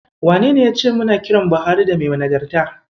Wanene yace muna kiran Buhari da "Mai Nagarta"?